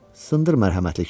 Sındır mərhəmətli kişi.